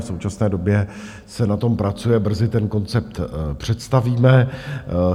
V současné době se na tom pracuje, brzy ten koncept představíme.